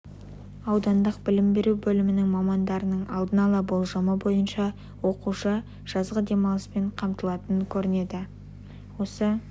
аудандық білім беру бөлімінің мамандарының алдын ала болжамы бойынша оқушы жазғы демалыспен қамтылатын көрінеді осы